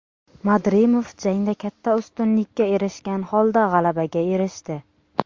Madrimov jangda katta ustunlikka erishgan holda g‘alabaga erishdi.